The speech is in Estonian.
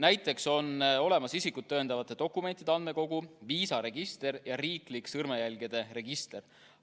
Näiteks on olemas isikut tõendavate dokumentide andmekogu, viisaregister ja riiklik sõrmejälgede register.